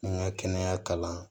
N ka kɛnɛya kalan